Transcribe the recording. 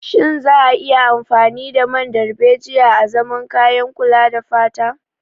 Shin za a iya amfani da man darbejiya azaman kayan kula da fata.